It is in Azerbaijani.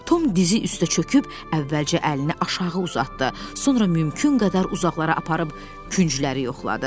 Tom dizi üstə çöküb, əvvəlcə əlini aşağı uzatdı, sonra mümkün qədər uzaqlara aparıb küncləri yoxladı.